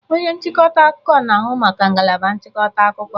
Onye nchịkọta akụkọ na-ahụ maka ngalaba nchịkọta akụkọ.